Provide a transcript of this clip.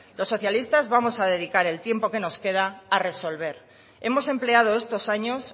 los socialistas vamos a dedicar el tiempo que nos queda a resolver hemos empleado estos años